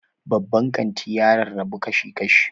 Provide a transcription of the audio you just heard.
Babban kanti ya rarrabu kashi-kashi.